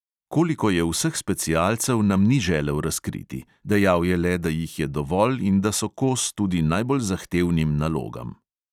Koliko je vseh specialcev, nam ni želel razkriti, dejal je le, da jih je dovolj in da so kos tudi najbolj zahtevnim nalogam.